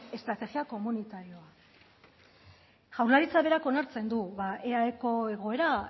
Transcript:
estrategia komunitario jaurlaritza berak onartzen du eaeko egoera